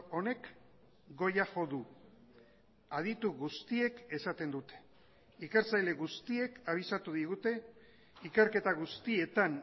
honek goia jo du aditu guztiek esaten dute ikertzaile guztiek abisatu digute ikerketa guztietan